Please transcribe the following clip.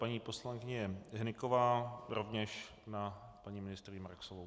Paní poslankyně Hnyková rovněž na paní ministryni Marksovou.